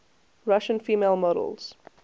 russian female models